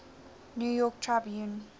new york tribune